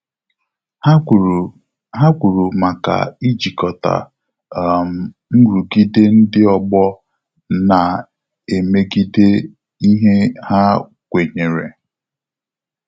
Ha kwuru Ha kwuru maka ijikota um nrụgide ndị ọgbọ na emegideghi ihe ha kwenyere